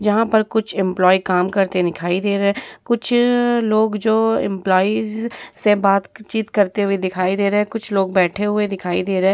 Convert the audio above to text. यहाँ पर कुछ एम्प्लॉई काम करते दिखाई दे रहे हैं कुछ लोग जो एम्पलॉईस से बात-चित करते हुए दिखाई दे रहे हैं कुछ लोग बैठे हुए दिखाई दे रहे हैं।